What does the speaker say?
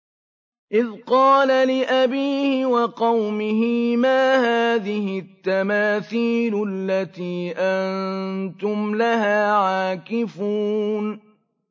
إِذْ قَالَ لِأَبِيهِ وَقَوْمِهِ مَا هَٰذِهِ التَّمَاثِيلُ الَّتِي أَنتُمْ لَهَا عَاكِفُونَ